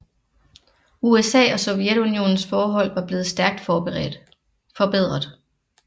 USA og Sovjetunionens forhold var blevet stærkt forbedret